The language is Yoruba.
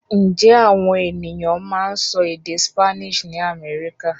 Ǹjẹ́ àwọn ènìyàn máa ń sọ èdè Spanish ní Amẹ́ríkà?